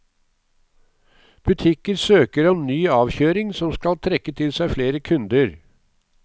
Butikker søker om ny avkjøring som skal trekke til seg flere kunder.